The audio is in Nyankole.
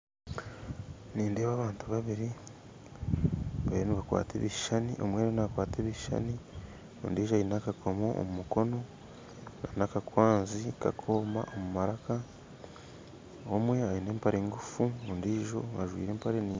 Nindeeba abantu babiri bariyo nibakwata ebishushani, omwe niwe nakwata ebishushani ondiijo aine akakomo omu mukono aine akakwanzi kakooma omu maraka, omwe aine empare engufu ondiijo ajwaire empare ndingwa